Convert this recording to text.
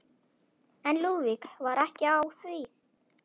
En Lúðvík var ekki á því.